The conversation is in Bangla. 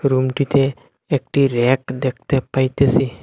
রুমটিতে একটি র্যাক দেখতে পাইতেসি।